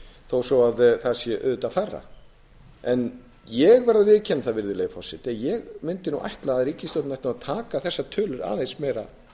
vanskilaskrá þó það sé auðvitað færra en ég verð að viðurkenna að ég mundi ætla að ríkisstjórnin ætti að taka þessar tölur aðeins meira